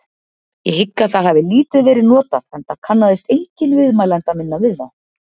Ég hygg að það hafi lítið verið notað enda kannaðist enginn viðmælanda minna við það.